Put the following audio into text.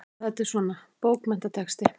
Já, þetta er svona. bókmenntatexti.